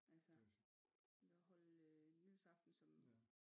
Altså vi kan holde nytårsaften som